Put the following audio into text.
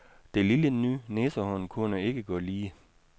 Det lille ny næsehorn kunne ikke gå lige.